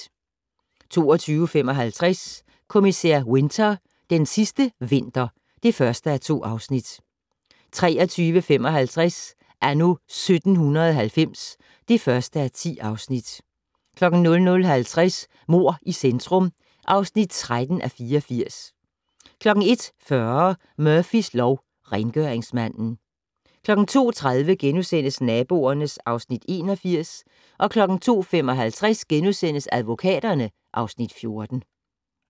22:55: Kommissær Winter: Den sidste vinter (1:2) 23:55: Anno 1790 (1:10) 00:55: Mord i centrum (13:84) 01:40: Murphys lov: Rengøringsmanden 02:30: Naboerne (Afs. 81)* 02:55: Advokaterne (Afs. 14)*